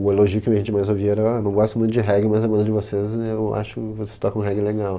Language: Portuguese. O elogio que a gente mais ouvia era, ah, não gosto muito de reggae, mas a banda de vocês, é eu acho que vocês tocam um reggae legal.